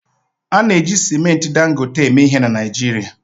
A na-eji simenti Dangote eme ihe na Naịjirịa